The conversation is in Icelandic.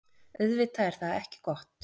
Auðvitað er það ekki gott.